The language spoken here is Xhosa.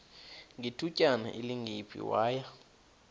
ngethutyana elingephi waya